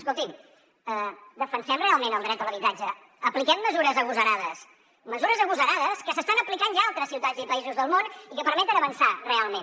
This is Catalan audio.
escolti’m defensem realment el dret a l’habitatge apliquem mesures agosarades mesures agosarades que s’estan aplicant ja en altres ciutats i països del món i que permeten avançar realment